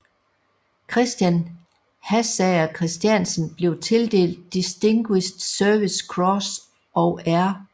Christian Hassager Christiansen blev tildelt Distinguished Service Cross og R